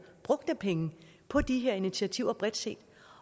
brugt af penge på de her initiativer bredt set